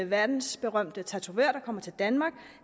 verdensberømte tatovør der kommer til danmark